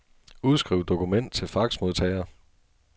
Udskriv dokument til faxmodtager.